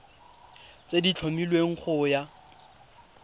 tse di tlhomilweng go ya